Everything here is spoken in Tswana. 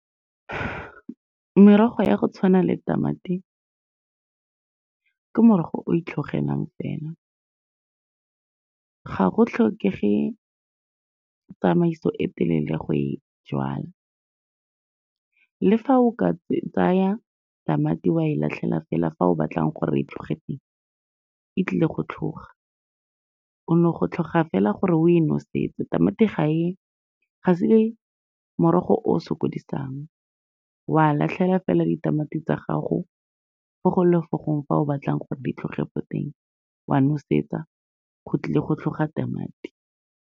Merogo ya go tshwana le tamati ke morogo o itlhogela fela, ga go tlhokege tsamaiso e telele go e jala. Le fa o ka tsaya tamati, wa e latlhela fela fa o batlang gore e tlhoge teng, e tlile go tlhoga. O no go tlhoga fela gore o e nosetse. Tamati ga e se morogo o o sokodisang, wa latlhela fela ditamati tsa gago fo go ngwe le fo go ngwe fa o batlang gore di tlhoge ko teng, wa nosetsa, go tlile go tlhoga tamati.